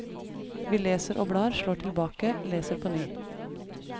Vi leser og blar, slår tilbake, leser på ny.